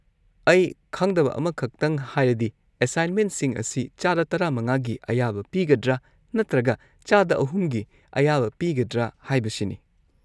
ꯑꯩ ꯈꯪꯗꯕ ꯑꯃꯈꯛꯇꯪ ꯍꯥꯏꯔꯗꯤ ꯑꯦꯁꯥꯏꯟꯃꯦꯟꯁꯤꯡ ꯑꯁꯤ ꯆꯥꯗ ꯱꯵ꯒꯤ ꯑꯌꯥꯕ ꯄꯤꯒꯗ꯭ꯔꯥ ꯅꯠꯇ꯭ꯔꯒ ꯆꯥꯗ ꯳ꯒꯤ ꯑꯌꯥꯕ ꯄꯤꯒꯗ꯭ꯔꯥ ꯍꯥꯏꯕꯁꯤꯅꯤ꯫